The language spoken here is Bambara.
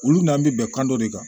Olu n'an bɛ bɛnkan dɔ de kan